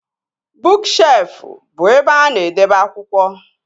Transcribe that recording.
Bụụk shelfụ bụ ebe a na-edebe akwụkwọ